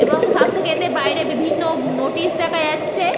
এবং স্বাস্থ্য কেন্দ্রের বাইরে বিভিন্ন উ নোটিশ দেখা যাচ্ছে।